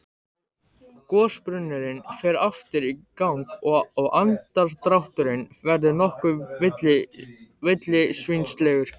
Gosbrunnurinn fer aftur í gang og andardrátturinn verður nokkuð villisvínslegur.